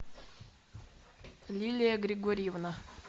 лилия григорьевна